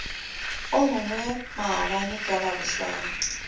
yo mongwe maabane ka labohlano